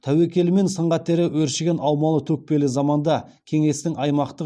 тәуекелі мен сын қатері өршіген аумалы төкпелі заманда кеңестің аймақтық